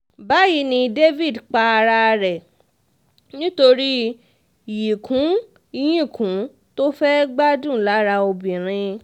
báyì ni david para rẹ̀ nítorí yíkùnyìnkùn tó fẹ́ẹ́ gbádùn lára obìnrin